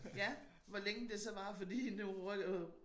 Ja hvor længe det så varer fordi nu rykker